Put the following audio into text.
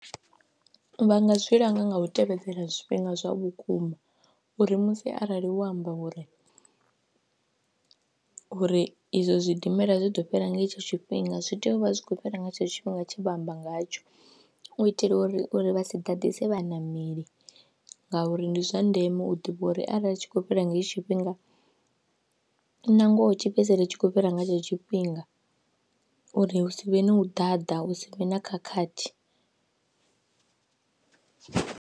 Vha nga zwi langa nga u tevhedzela zwifhinga zwa vhukuma uri musi arali wo amba uri uri izwo zwidimela zwi ḓo fhira nga hetsho tshifhinga zwi tea u vha zwi khou fhira nga tshetsho tshifhinga tshe vha amba ngatsho u itela uri uri vha si ḓaḓisi vhaṋameli ngauri ndi zwa ndeme u ḓivha uri arali zwi tshi khou fhira ngei tshifhinga nangoho tshi fhedzisele tshi khou fhira nga hetsho tshifhinga uri hu si vhe na u ḓaḓa hu si vhe na khakhathi.